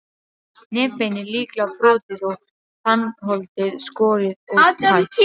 Nefbeinið líklega brotið og tannholdið skorið og tætt.